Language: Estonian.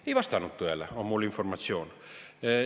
Ei vastanud tõele, on mul informatsioon.